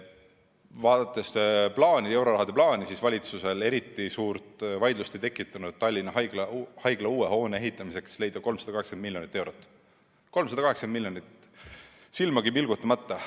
Vaadates eurorahade plaani, siis on näha, et valitsuses ei tekitanud eriti suurt vaidlust, kust leida Tallinna haigla uue hoone ehitamiseks 380 miljonit eurot – 380 miljonit, silmagi pilgutamata.